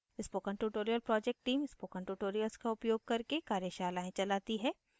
spoken tutorial project team spoken tutorials का उपयोग करके कार्यशालाएं चलाती है